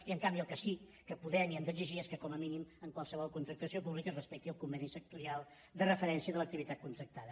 i en canvi el que sí que podem i hem d’exigir és que com a mínim en qualsevol contractació pública es respecti el conveni sectorial de referència de l’activitat contractada